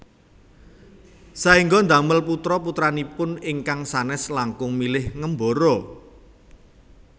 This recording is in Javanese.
Saéngga damel putra putranipun ingkang sanes langkung milih ngembara